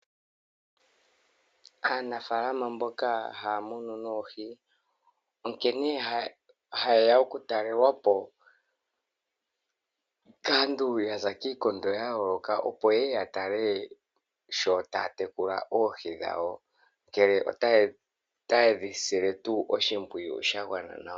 Aanafaalama mboka haya munu noohi onkene ha yeya oku talelwapo kaantu yaza kiikondo ya yooloka opo yeye ya tale sho taya tekula oohi dhawo ngele ota yedhi sile oshimpwiyu tuu shagwana nawa.